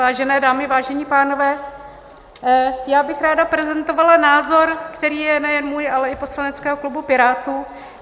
Vážené dámy, vážení pánové, já bych ráda prezentovala názor, který je nejen můj, ale i poslaneckého klubu Pirátů.